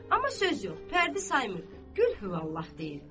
Amma söz yox, pərdi saymırdı, Qulhuvallah deyirdi.